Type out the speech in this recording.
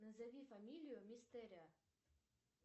назови фамилию мистерио